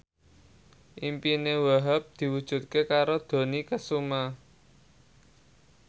impine Wahhab diwujudke karo Dony Kesuma